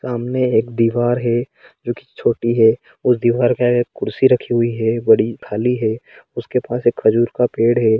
सामने एक दीवार है जो की छोटी है उस दीवार आगे एक कुर्सी रखी हुई हैबड़ी खाली हे उसके पास एक खजूर का पेड़ है।